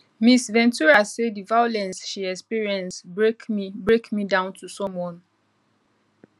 ms ventura say di violence she experience break me break me down to someone